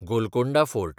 Golconda fort